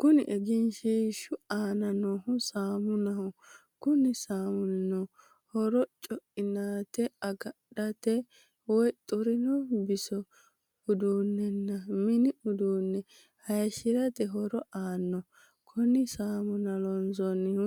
Kunni egenshiishu aanna noohu saaminnaho. Konni saaminni horo coinaate agadhate woyi xurinno bisso, uddanna minni uduunne hayishirate horo aano. konne saamunna loonsoonnihu